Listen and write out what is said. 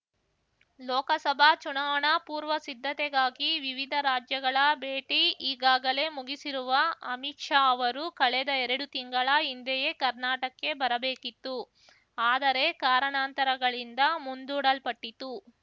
ಲೋಕಸಭಾ ಚುನಾವಣಾ ಪೂರ್ವಸಿದ್ಧತೆಗಾಗಿ ವಿವಿಧ ರಾಜ್ಯಗಳ ಭೇಟಿ ಈಗಾಗಲೇ ಮುಗಿಸಿರುವ ಅಮಿತ್‌ ಶಾ ಅವರು ಕಳೆದ ಎರಡು ತಿಂಗಳ ಹಿಂದೆಯೇ ಕರ್ನಾಟಕ್ಕೆ ಬರಬೇಕಿತ್ತು ಆದರೆ ಕಾರಣಾಂತರಗಳಿಂದ ಮುಂದೂಡಲ್ಪಟ್ಟಿತು